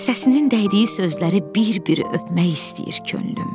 Səsinin dəydiyi sözləri bir-bir öpmək istəyir könlüm.